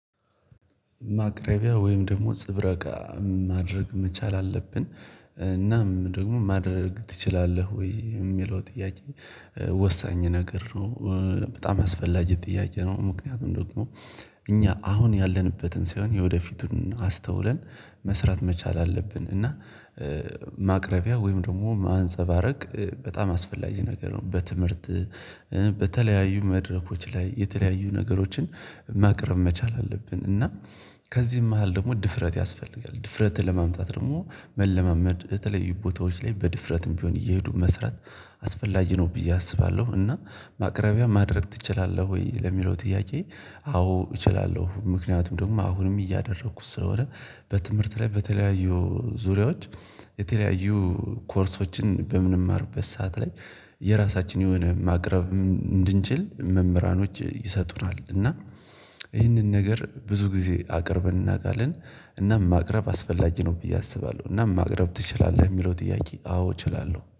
ማቅረቢያ ወይም ደግሞ ጽብረቃ ማድረግ መቻል አለብን እናም ደግሞ ማድረግ ትችላለህ ወይ የሚለው ጥያቄ? ወሳኝ ነገር ነው። በጣም ያስፈላጊ ጥያቄ ነው ምክንያቱም ደግሞ እኛ አሁን ያለንበትን ሳይሆን የወደፊቱን አስተውለን መስራት መቻል አለብን። እና ማቅረቢያ ወይም ደግሞ ማንፀባረቅ በጣም አስፈላጊ ነገር ነው። በትምህርት በተለያዩ መድረኮች ላይ የተለያዩ ነገሮችን ማቅረብ መቻል አለብን። እና ከዚህም መሃል ደግሞ ድፍረት ያስፈልጋል ድፍረትን ለማምጣት ደግሞ መለማመድ በተለያዩ ቦታዎች ላይ በድፍረትም ቢሆን እየሄዱ መስራት አስፈላጊ ነው ብዬ አስባለሁ። እና ማቅረቢያ ማድረግ ትችላለህ ወይ ለሚለው ጥያቄ? አዎ እችላለሁ። ምክንያቱም ደግሞ አሁንም እያደረኩት ስለሆነ በትምህርት ላይ በተለያዩ ዙሪያዎች የተለያዩ ኮርሶችን በምንማርበት ሰዓት ላይ የራሳችን የሆነ ማቅረብ እንድንችል መምህራኖች ይሰጡናል እና። ይህንን ነገር ብዙ ጊዜ አቅርበን እናውቃለን። እና ማቅረብ አስፈላጊ ነው ብዬ አስባለሁ። እና ማቅረብ ትችላለህ የሚለው ጥያቄ አዎ እችላለሁ